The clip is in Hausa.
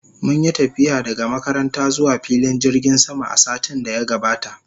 Mun yi tafiya daga makaranta zuwa filin jirgin sama a satin da ya gabata